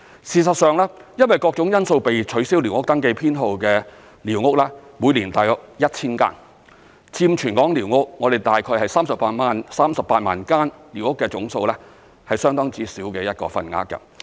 事實上，因為各種因素被取消寮屋登記編號的寮屋每年大約有 1,000 間，佔全港寮屋——總數大概是38萬間——是相當之小的份額。